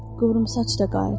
Qıvrımsaç da qayıtdı.